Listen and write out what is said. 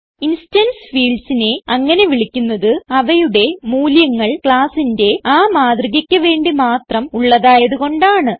instance fieldsനെ അങ്ങനെ വിളിക്കുന്നത് അവയുടെ മൂല്യങ്ങൾ ക്ലാസ്സിന്റെ ആ മാതൃകയ്ക്ക് വേണ്ടി മാത്രം ഉള്ളതായത് കൊണ്ടാണ്